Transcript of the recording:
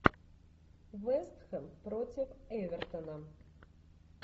вест хэм против эвертона